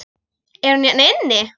Er hún hérna inni?